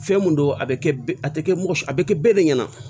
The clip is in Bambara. Fɛn mun don a bɛ kɛ a tɛ kɛ mɔgɔ si a bɛ kɛ be de ɲɛna